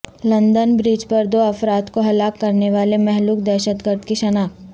London bridge پر دو افراد کو ہلاک کرنے والے مہلوک دہشت گرد کی شناخت